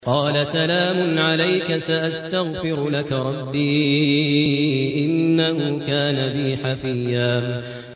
قَالَ سَلَامٌ عَلَيْكَ ۖ سَأَسْتَغْفِرُ لَكَ رَبِّي ۖ إِنَّهُ كَانَ بِي حَفِيًّا